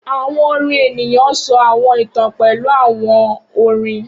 Awọn orin eniyan sọ awọn itan pẹlu awọn orin